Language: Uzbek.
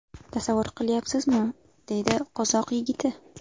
Tasavvur qilyapsizmi?” deydi qozoq yigiti.